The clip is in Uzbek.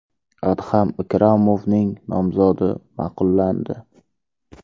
Adham Ikromovning nomzodi ma’qullandi.